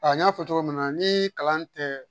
A n y'a fɔ cogo min na ni kalan tɛ